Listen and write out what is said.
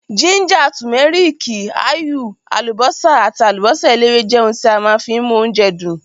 Gíńjà, tùméríkì, áyù, àlùbọ́sà àti àlùbọ́sà eléwé jẹ́ ohun tí a má fi ń mú oúnjẹ dùn.